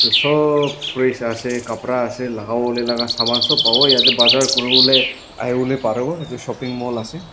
sob fresh asa kapra asa lagavo lae laga saman sob pavo ete bazar kurivo lae ahivo parivo lae parivo etu shopping mall asa.